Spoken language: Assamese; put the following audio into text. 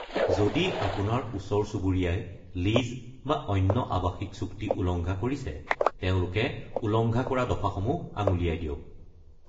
যদি আপোনাৰ ওচৰ-চুবুৰীয়াই লীজ বা অন্য আৱাসিক চুক্তি উলংঘা কৰিছে, তেওঁলোকে উলংঘা কৰা দফাসমূহ আঙুলিয়াই দিয়ক।